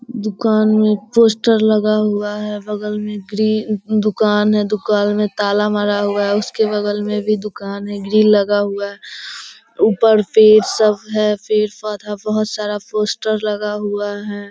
दुकान में पोस्टर लगा हुआ है। बगल में ग्रे दुकान है। दुकान में ताला मारा हुआ है। उसके बगल में भी दुकान है ग्रिल लगा हुआ है ऊपर पेड़ सब है। पेड़-पौधा बहुत सारा पोस्टर लगा हुआ है।